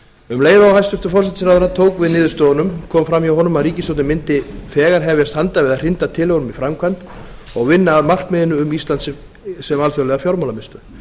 um leið og hæstvirtur forsætisráðherra tók við niðurstöðunum kom fram hjá honum að ríkisstjórnin mundi þegar hefjast handa við að hrinda tillögunum í framkvæmd og vinna að markmiðinu um ísland sem alþjóðleg fjármálamiðstöð